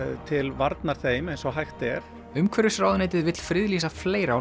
til varnar þeim eins og hægt er umhverfisráðuneytið vill friðlýsa fleira á